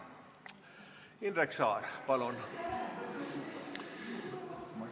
Indrek Saar, palun!